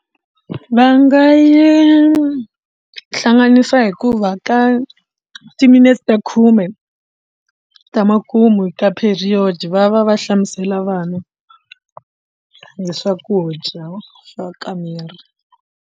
Va nga yi hlanganisa hikuva ka timinetse ta khume ta makumu hi ka period va va va hlamusela vana hi swakudya swa ka miri.